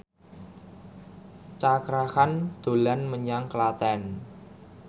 Cakra Khan dolan menyang Klaten